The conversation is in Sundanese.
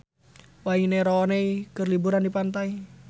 Wayne Rooney keur liburan di pantai